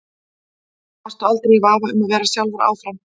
Varstu aldrei í vafa um að vera sjálfur áfram?